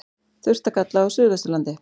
Þurrt að kalla á suðvesturlandi